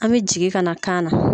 An bɛ jigin ka na kaana.